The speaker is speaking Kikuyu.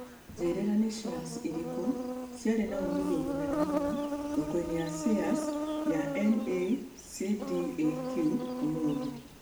njĩrĩra nĩ shares irĩkũ ciarĩ na uumithio mũnene mũno thoko-inĩ ya shares ya NASDAQ ũmũthĩ